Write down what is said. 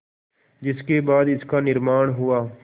जिसके बाद इसका निर्माण हुआ